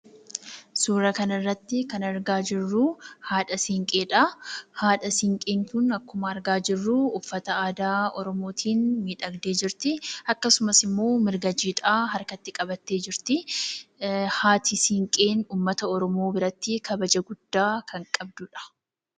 Suuraa kanarratti kan argaa jirru haadha siiqqeedha. Haadha siiqqeen kun akkuma argaa jirru uffata aadaa oromootiin miidhagdee jirti. Akkasumas immoo marga jiidhaa harkatti qabattee jirti. Haati siiqqee uummata oromoo biratti kabaja guddaa kan qabduudha.